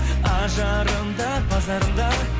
ажарым да базарым да